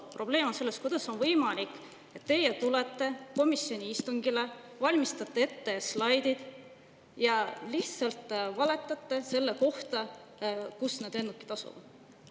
Probleem on selles, et kuidas on võimalik, et te valmistate ette slaidid, tulete komisjoni istungile ja lihtsalt valetate selle kohta, kus need lennukid asuvad.